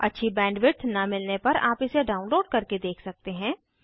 अच्छी बैंडविड्थ न मिलने पार आप इसे डाउनलोड करके देख सकते हैं